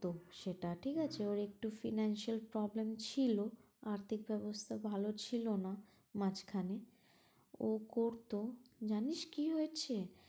তো সেটা ঠিক আছে ওর একটু financial problem ছিলো, আর্থিক অবস্থা ভালো ছিল না মাঝখানে ও করতো, জানিস কি হয়েছে